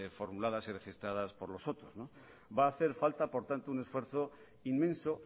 formuladas y registradas por los otros va hacer falta por tanto un esfuerzo inmenso